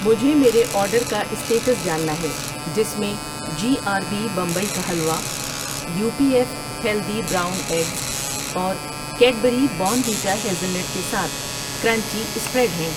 مجھے میرے آرڈر کا اسٹیٹس جاننا ہے جس میں G R B Bombay halwa حلوہ ، U P F healthy brown eggs اور کیڈبری بارنویٹا ہیزلنٹ کے ساتھ کرنچی اسپریڈ ہیں۔